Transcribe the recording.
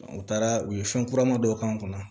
U taara u ye fɛn kurama dɔw k'an kunna